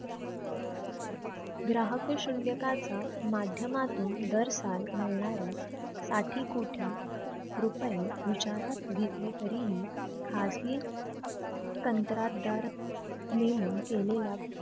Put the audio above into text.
ग्राहक शूल्यकाचा माध्यमातून दर साल मिळणारे साठी कोठी रुपये विचारात घेतले तरीही खाजगी कंत्राटदार नेमून केलेल्या